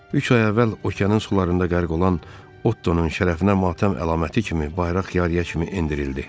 Üç ay əvvəl okeanın sularında qərq olan Ottonun şərəfinə matəm əlaməti kimi bayraq yarıya kimi endirildi.